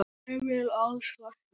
Emil Als læknir.